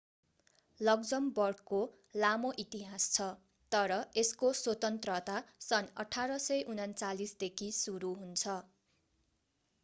लक्जमबर्गको लामो इतिहास छ तर यसको स्वतन्त्रता सन् 1839 देखि सुरु हुन्छ